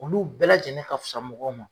Olu bɛɛ lajɛlen ka fisa mɔgɔw ma